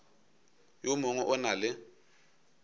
yo mongwe o na le